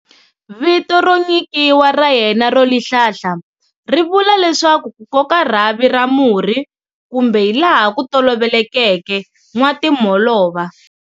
Vito ro nyikiwa ra yena "Rolihlahla" ri vula leswaku "kukoka rhavi ra murhi", kumbe hi laha kutolovelekeke,"nwatimholova".